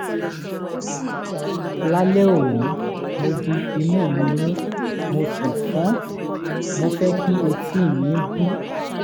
lálẹ́ òní mo di imú mi mú mo sì fọ́n mo fẹ́ kí etí mi bú